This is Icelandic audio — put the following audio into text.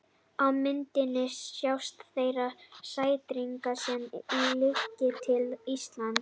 á myndinni sjást þeir sæstrengir sem liggja til íslands